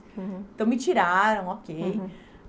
Uhum. Então, me tiraram, ok. Uhum.